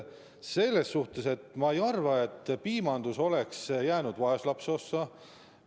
Selles suhtes ma ei arva, et piimandus oleks jäänud vaeslapse ossa.